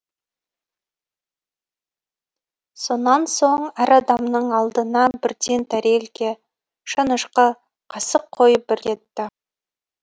сонан соң әр адамның алдына бірден тәрелке шанышқы қасық қойып бір кетті